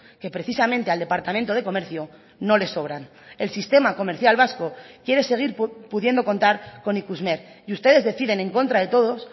que precisamente al departamento de comercio no le sobran el sistema comercial vasco quiere seguir pudiendo contar con ikusmer y ustedes deciden en contra de todos